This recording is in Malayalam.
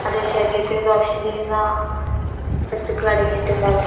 അതെ, ശരീരത്തിന് ദോഷം ചെയ്യുന്ന വസ്തുക്കളടങ്ങിയിട്ട്ണ്ടാവും.